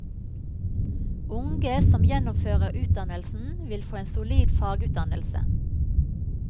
Unge som gjennomfører utdannelsen, vil få en solid fagutdannelse.